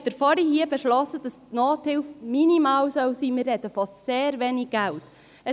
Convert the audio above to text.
Nun haben Sie hier vorhin beschlossen, dass die Nothilfe minimal sein soll – wir reden von sehr wenig Geld.